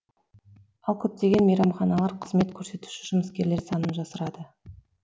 ал көптеген мейрамханалар қызмет көрсетуші жұмыскерлер санын жасырады